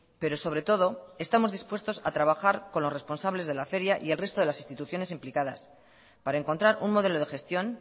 pero sobre todo estamos dispuestos a trabajar con los responsables de la feria y el resto de las instituciones implicadas para encontrar un modelo de gestión